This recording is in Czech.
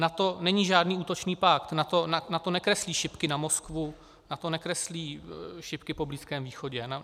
NATO není žádný útočný pakt, NATO nekreslí šipky na Moskvu, NATO nekreslí šipky po Blízkém východě.